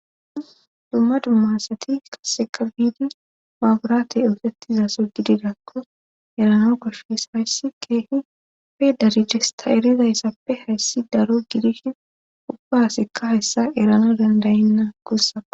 dumma dumma sati qaseka biidi maaburatey ootettizaso gidirakko erano koshes hayssi keehi pedaridesta eridayssappe hayssi daro gidishin ubbasikka hayssa erana dandayinna gussako